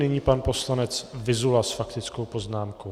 Nyní pan poslanec Vyzula s faktickou poznámkou.